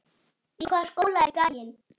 Í hvaða skóla er gæinn?